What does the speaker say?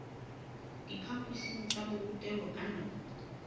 diphaphosing tsa borutelo ka nako